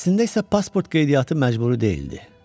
Əslində isə pasport qeydiyyatı məcburi deyildi.